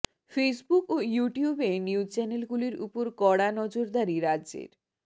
Facebook ও ইউটিউবে news চ্যানেলগুলির উপর কড়া নজরদারি রাজ্যের